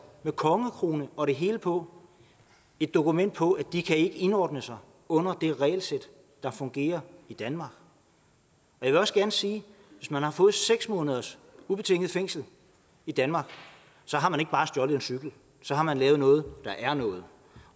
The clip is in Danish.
med kongekrone og det hele på et dokument på at de ikke kan indordne sig under det regelsæt der fungerer i danmark jeg vil også gerne sige at hvis man har fået seks måneders ubetinget fængsel i danmark har man ikke bare stjålet en cykel så har man lavet noget der er noget